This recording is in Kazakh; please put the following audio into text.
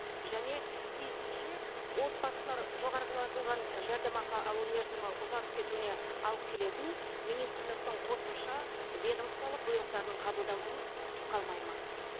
және тиісінше отбасылар жоғарылатылған жәрдемақы алу мерзімі ұзарып кетуіне алып келетін министрліктің қосымша ведомстволық бұйрықтарының қабылдануын күтіп қалмайды ма